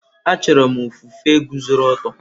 Achọrọ m ofufe guzoro ọtọ.